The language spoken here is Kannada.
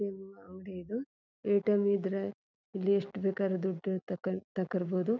ಅಂಗಡಿ ಇದು ಏಟಿಎಂ ಇದ್ರೆ ಇಲ್ಲಿ ಎಷ್ಟು ಬೇಕಾದ್ರು ದುಡ್ಡು ತಕಂಡ್ ತಕೋರ್ಬೋದು .